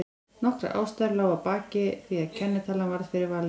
Nokkrar ástæður lágu að baki því að kennitalan varð fyrir valinu.